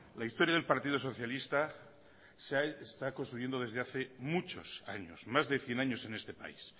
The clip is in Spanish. la historia del partido socialista se está construyendo desde hace muchos años más de cien años en este país